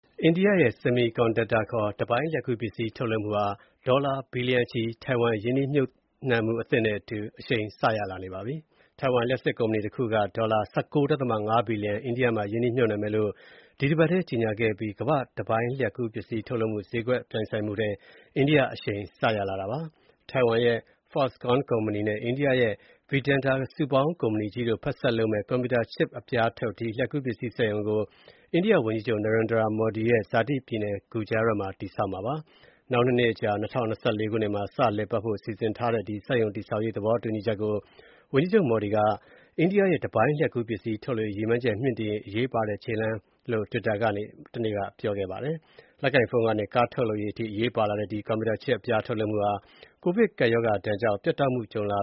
အိန္ဒိယရဲ့ Semiconductor ခေါ် တစ်ပိုင်းလျှပ်ကူးပစ္စည်းထုတ်လုပ်မှုဟာ ဒေါ်လာဘီလီယံ ထိုင်ဝမ်ရင်းနှီးမြှုပ်နှံမှုသစ်နဲ့အတူ အရှိန်စရလာပါပြီ။ ထိုင်ဝမ်လျှပ်စစ်ကုမ္ပဏီတခုက ဒေါ်လာ ၁၉.၅ ဘီလီယံ အိန္ဒိယမှာ ရင်းနှီးမြှုပ်နှံမယ်လို့ ဒီအပတ်ထဲကြေညာခဲ့အပြီး ကမ္ဘာ့ တပိုင်းလျှပ်ကူးပစ္စည်းထုတ်လုပ်မှု ဈေးကွက်ပြိုင်ဆိုင်မှုထဲ အိန္ဒိယ အရှိန်စရလာတာပါ။ ထိုင်ဝမ်ရဲ့ Foxconn ကုမ္ပဏီ နဲ့ အိန္ဒိယရဲ့ Vedanta စုပေါင်းကုမ္ပဏီကြီးတို့ ဖက်စပ်လုပ်မဲ့ ကွန်ပြူတာ Chip အပြားထုတ် ဒီ လျှပ်ကူးပစ္စည်းစက်ရုံကို အိန္ဒိယဝန်ကြီးချုပ် Narendra Modi ရဲ့ ဇာတိပြည်နယ် Gujarat မှာ တည်ဆောက်မှာပါ။ နောက် ၂ နှစ်ကြာ ၂၀၂၄ ခုနှစ်မှာ စလည်ပတ်နိုင်ဖို့ စီစဉ်ထားတဲ့ ဒီ စက်ရုံတည်ဆောက်ရေးသဘောတူချက်ကို ဝန်ကြီးချုပ် Modi က အိန္ဒိယရဲ့ တပိုင်းလျှပ်ကူးပစ္စည်းထုတ်လုပ်ရေး ရည်မှန်းချက်မြှင့်တင်ရေး၊ အရေးပါတဲ့ ခြေလှမ်းလို့ တွစ်တာကနေ တနေ့က ပြောခဲ့ပါတယ်။ လက်ကိုင်ဖုန်းကနေ ကားထုတ်လုပ်ရေးအထိ အရေးပါလာတဲ့ ဒီ ကွန်ပျူတာ Chip အပြားထုတ်လုပ်မှုဟာ ကိုဗစ်ကပ်ရောဂါကြောင့် ပြတ်တောက်မှုကြုံလာ